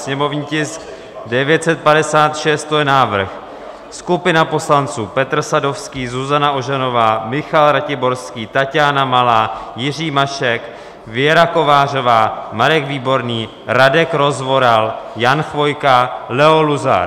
Sněmovní tisk 956, to je návrh - skupina poslanců Petr Sadovský, Zuzana Ožanová, Michal Ratiborský, Taťána Malá, Jiří Mašek, Věra Kovářová, Marek Výborný, Radek Rozvoral, Jan Chvojka, Leo Luzar.